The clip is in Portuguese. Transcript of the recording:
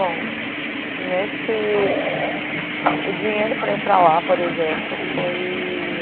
Bom, nesse... O dinheiro para ir para lá, por exemplo, foi...